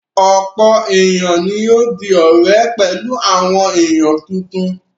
Ọ̀pọ̀ ènìyàn ni yóò di ọ̀rẹ́ pẹ̀lú àwọn ènìyàn tuntun.